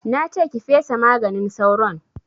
Na ce ki fesa maganin sauron!